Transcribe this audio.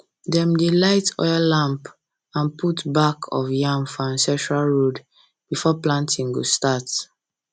dem dey light oil lamp and put back of yam for ancestral road before planting go start